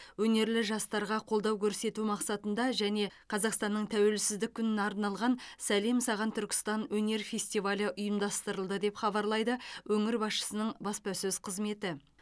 өнерлі жастарға қолдау көрсету мақсатында және қазақстанның тәуелсіздік күніне арналған сәлем саған түркістан өнер фестивалі ұйымдастырылды деп хабарлайды өңір басшысының баспасөз қызметі